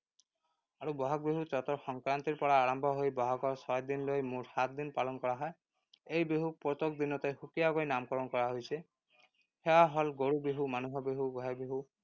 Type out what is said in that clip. আৰু বহাগ বিহু চ’তৰ সংক্ৰান্তিৰ পৰা আৰম্ভ হৈ বহাগৰ ছয় দিনলৈ মুঠ সাতদিন পালন কৰা হয়। এই বিহুক প্ৰত্যেক দিনতে সুকীয়াকৈ নামকৰণ কৰা হৈছে। সেয়া হল গৰু বিহু, মানুহ বিহু, গোঁসাই বিহু